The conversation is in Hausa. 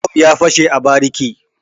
Bom ya fashe a bariki.